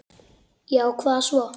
Já og hvað svo?